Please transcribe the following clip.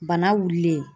Bana wulilen